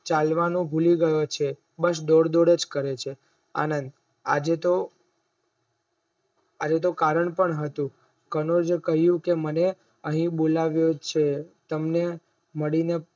ચાલવાનું ભૂલી ગયો છે બસ દોડ દોડ અજ કરે છે આનંદ આજે તોહ કારણ પણ હતું કમળ એ કહ્યું કે મને આઈ બોલાવે છે તમને મળીને